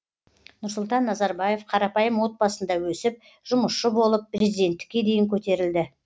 нұрсұлтан назарбаев қарапайым отбасында өсіп жұмысшы болып президенттікке дейін көтерілді